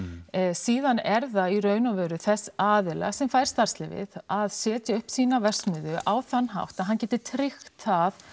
síðan er það í rauninni þess aðila sem fær starfsleyfið að setja upp sína verksmiðju á þann hátt að hann geti tryggt það